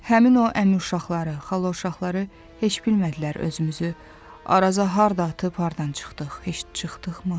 Həmin o əmi uşaqları, xala uşaqları heç bilmədilər özümüzü Araza harda atıb hardan çıxdıq, heç çıxdıq mı?